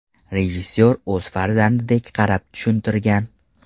Rejissor o‘z farzandidek qarab, tushuntirgan.